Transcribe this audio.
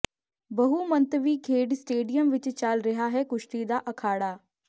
ਬਹੁਮੰਤਵੀ ਖੇਡ ਸਟੇਡੀਅਮ ਵਿੱਚ ਚੱਲ ਰਿਹਾ ਹੈ ਕੁਸ਼ਤੀ ਦਾ ਅਖਾੜਾ